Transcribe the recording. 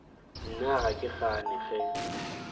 nna ga ke gane ge